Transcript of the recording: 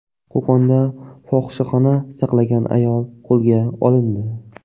Qo‘qonda fohishaxona saqlagan ayol qo‘lga olindi.